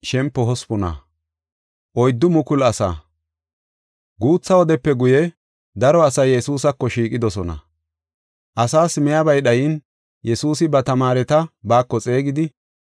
Guutha wodepe guye, daro asay Yesuusako shiiqidosona. Asaas miyabay dhayin Yesuusi ba tamaareta baako xeegidi,